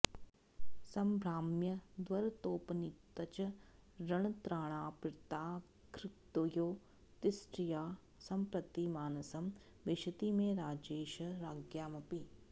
सम्भ्राम्यद्भरतोपनीतचरणत्राणार्पिताङ्घ्रिद्वयो दिष्ट्या सम्प्रति मानसं विशति मे राजैष राज्ञामपि